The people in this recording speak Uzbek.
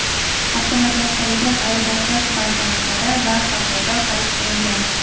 avtomatlashtirilgan ayirboshlash bankomatlari va hokazo) xarid qilingan.